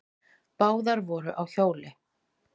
Báðar voru á hjóli.